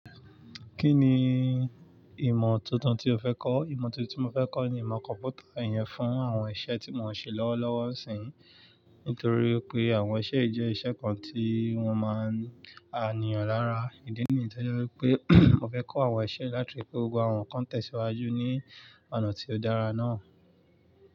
Kí ni ìmọ̀ tuntun tí o fẹ́ kọ́? Ìmọ̀ tuntun tí mo fẹ́ kọ́ ni ìmọ̀ kọ̀mpútà, ìyẹn fún àwọn iṣẹ́ tí mò ń ṣe lọ́wọ́lọ́wọ́ níísìn. Nítorí pé àwọn iṣẹ́ jé iṣẹ́ kan tí wọ́n máa ń níyàn lára. Ìdí nìyí ni to je pé mò fẹ́ kọ́ àwọn iṣẹ́ láti fi ri pe gbogbo àwọn nnkan tèsíwájú ní ọ̀nà tí ó dára náà.